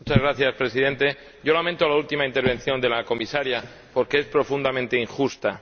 Señor Presidente, lamento la última intervención de la Comisaria, porque es profundamente injusta.